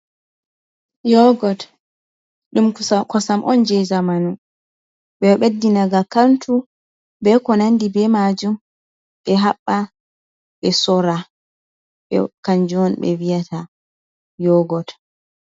Yogot ɗum kosam on je zamanu. Be beɗɗinaga kantu be ko nandi be majun. Be habba be sora. Kanju on be vi'yata yogot.